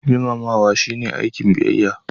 Girmamawa shine aikin biyayya.